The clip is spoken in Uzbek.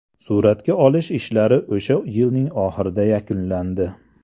Suratga olish ishlari o‘sha yilning oxirida yakunlandi.